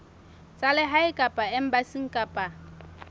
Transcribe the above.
tsa lehae kapa embasing kapa